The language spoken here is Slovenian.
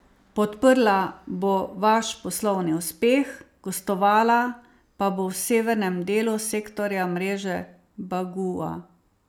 Podprla bo vaš poslovni uspeh, gostovala pa bo v severnem delu sektorja mreže bagua.